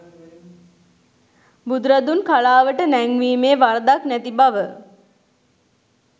බුදුරදුන් කලාවට නැංවීමේ වරදක් නැති බව